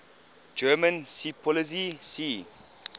german seepolizei sea